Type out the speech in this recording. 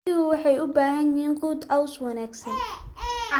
Riyuhu waxay u baahan yihiin quud caws wanaagsan.